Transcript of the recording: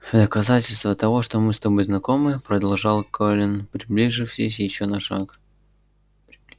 в доказательство того что мы с тобой знакомы продолжал колин приблизившись ещё на шаг